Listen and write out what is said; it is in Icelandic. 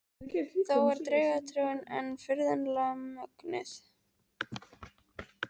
Þó er draugatrúin enn furðanlega mögnuð.